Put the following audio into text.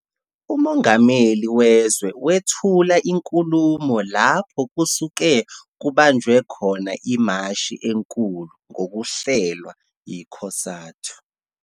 Umongameli wezwe wethula inkulumo lapho kusuke kubanjwe khona imashi enkulu, ngokuhlelwa yi-"COSATU".